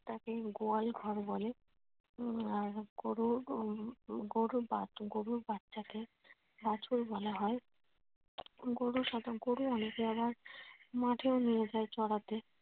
তাকে গোয়াল ঘর বলে উম গরুর হম গরুর বাচ্চাকে বাছুর বলা হয়। গরু অনেক জায়গায় মাঠেও নিয়ে যায় চড়াতে।